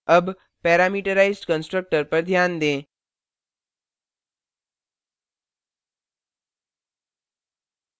अब parameterized constructor पर ध्यान दें